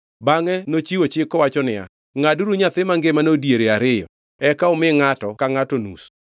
Bangʼe nochiwo chik kowacho niya, “Ngʼaduru nyathi mangimano e diere ariyo eka umi ngʼato ka ngʼato nus.”